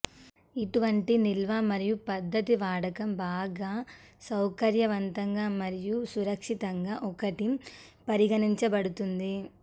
ఇటువంటి నిల్వ మరియు పద్ధతి వాడకం బాగా సౌకర్యవంతంగా మరియు సురక్షితంగా ఒకటి పరిగణించబడుతుంది